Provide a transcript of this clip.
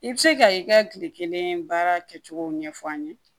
I bɛ se ka i ka tile kelen baara kɛ cogow ɲɛfɔ an ye